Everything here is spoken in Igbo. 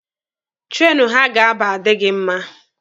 Treenụ ha ga-aba adịghị mma.